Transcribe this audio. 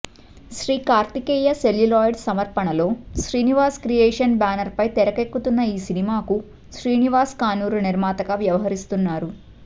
Shri Karthikeya celluloids సమర్పణలో Srinivas creations banner పై తెరకెక్కుతున్న ఈ సినిమాకు శ్రీనివాస్ కానూరు నిర్మాతగా వ్యవహరిస్తున్నారు